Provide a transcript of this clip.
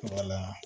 Wala